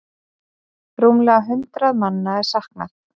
Rúmlega hundrað manna er saknað.